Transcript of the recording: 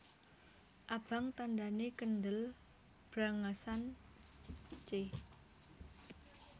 Abang tandhane kendel brangasan c